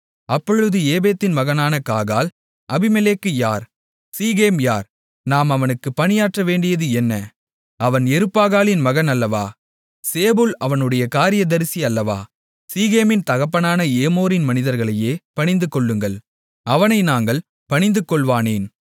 அப்பொழுது ஏபேதின் மகனான காகால் அபிமெலேக்கு யார் சீகேம் யார் நாம் அவனுக்கு பணியாற்றவேண்டியது என்ன அவன் யெருபாகாலின் மகன் அல்லவா சேபூல் அவனுடைய காரியதரிசி அல்லவா சீகேமின் தகப்பனான ஏமோரின் மனிதர்களையே பணிந்துகொள்ளுங்கள் அவனை நாங்கள் பணிந்துகொள்வானேன்